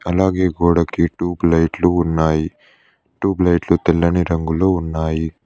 అలాగే గోడకి టూబ్ లైట్లు ఉన్నాయి టూబ్ లైట్లు తెల్లని రంగులో ఉన్నాయి.